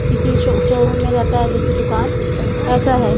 किसी show showroom में रहता है जैसे दुकान ऐसा है।